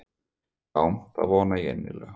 Já það vona ég innilega.